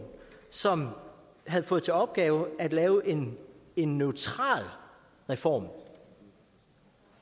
som havde fået til opgave at lave en en neutral reform